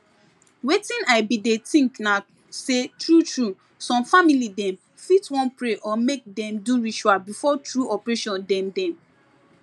wetin i bin dey think na say true true some family dem fit wan pray or make dem do ritual before true operation dem dem